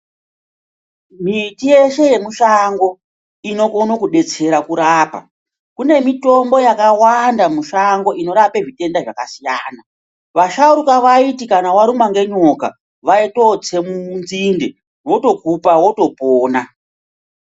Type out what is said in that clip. Miti yeshe yemushango inokone kubetsera kurapa. Kune mitombo yakawanda mushango inorape zvitenda zvakasiyana. Vasharuka vaiti kana varumwa ngenyoka vaitotse munzinde votokupa votopona.